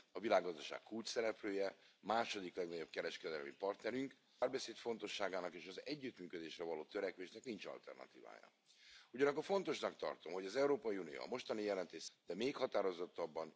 Acolo își poate face loc. Tocmai de aceea este nevoie de un control strict și eficient la nivelul întregii Uniuni, pentru că, altfel, riscăm să ne distrugă China și competiția corectă de pe piață, și democrația.